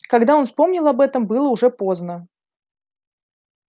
когда он вспомнил об этом было уже поздно